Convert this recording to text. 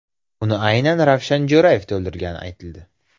Uni aynan Ravshan Jo‘rayev to‘ldirgani aytildi.